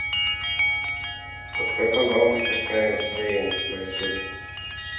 открой канал мастерская настроения на ютубе